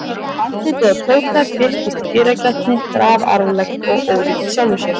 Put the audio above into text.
Andlitið á Tóta birtist í dyragættinni grafalvarlegt og ólíkt sjálfu sér.